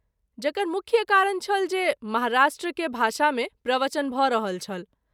जकर मुख्य कारण छल जे महाराष्ट्र के भाषा मे प्रवचन भ’ रहल छल।